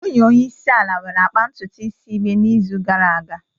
Nwunye onye isi ala nwere akpa ntutu isi igbe n'izu gara aga